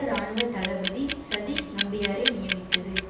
இராணுவ தளபதி சதீஷ் நம்பியாரை நியமித்தது